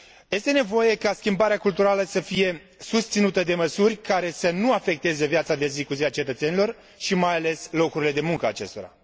Este nevoie ca schimbarea culturală să fie susținută de măsuri care să nu afecteze viața de zi cu zi a cetățenilor și, mai ales, locurile de muncă ale acestora.